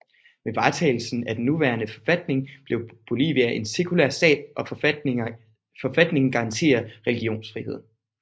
Med vedtagelsen af den nuværende forfatning blev Bolivia en sekulær stat og forfatningen garanterer religionsfrihed